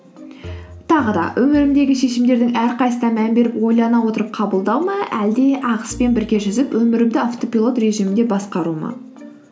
тағы да өмірімдегі шешімдердің әрқайсысына мән беріп ойлана отырып қабылдау ма әлде ағыспен бірге жүзіп өмірімді автопилот режимінде басқару ма